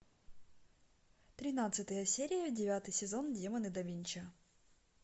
тринадцатая серия девятый сезон демоны да винчи